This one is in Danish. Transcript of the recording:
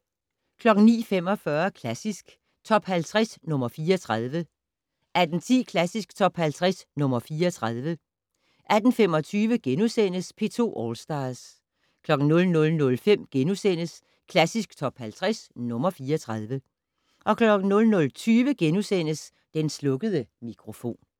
09:45: Klassisk Top 50 - nr. 34 18:10: Klassisk Top 50 - nr. 34 18:25: P2 All Stars * 00:05: Klassisk Top 50 - nr. 34 * 00:20: Den slukkede mikrofon *